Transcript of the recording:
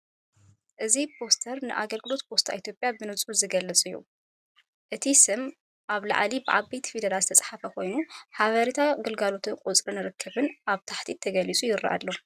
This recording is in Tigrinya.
እዚ ፖስተር ንኣገልግሎት ፖስት ኢትዮጵያ ብንጹር ዝገልጽ እዩ። እቲ ስም ኣብ ላዕሊ ብዓበይቲ ፊደላት ዝተጻሕፈ ኮይኑ ሓበሬታ ኣገልግሎትን ቁጽሪ ርክብን ኣብ ታሕቲ ተገሊጹ ይረአ ኣሎ።